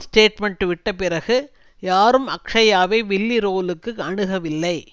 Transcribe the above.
statement விட்டபிறகு யாரும் அக்ஷ்யாவை வில்லி ரோலுக்கு அணுகவில்லை